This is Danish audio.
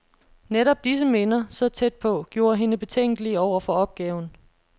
Netop disse minder, så tæt på, gjorde hende betænkelig over for opgaven.